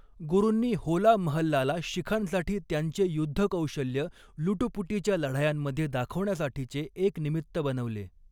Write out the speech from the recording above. गुरूंनी होला महल्लाला शिखांसाठी त्यांचे युद्धकौशल्य लुटुपुटीच्या लढायांमध्ये दाखवण्यासाठीचे एक निमित्त बनवले.